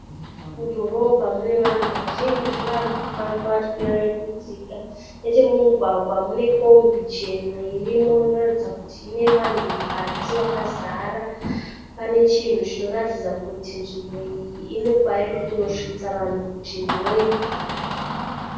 Mudhorobha mune vanhu vazhinji varikufamba vachikwira nekudzika. Nechemumugwa mune kombi chena irimo inoratidza kuti ine vanhu mukati vakazara. Pane chinhu chinoratidza kuti nzvimbo iyi inekwairi kunosvitsa vanhu kuchinhoyi.